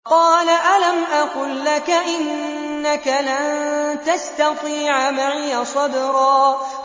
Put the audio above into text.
۞ قَالَ أَلَمْ أَقُل لَّكَ إِنَّكَ لَن تَسْتَطِيعَ مَعِيَ صَبْرًا